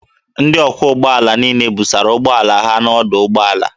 Ndị ọkwọ ụgbọ ala niile busara ụgbọala ha n'ọdụ ụgbọ ala